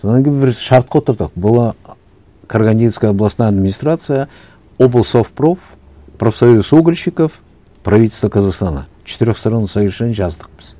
содан кейін бір шартқа отырдық была карагандинская областная администрация облсовпроф профсоюз угольщиков правительство казахстана четырехстороннее соглашение жаздық біз